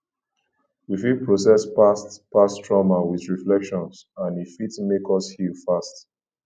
we fit process past past trauma with reflection and e fit make us heal fast